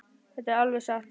Þetta er alveg satt.